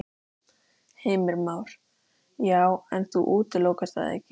Heimir Már: Já, en þú útilokar það ekki?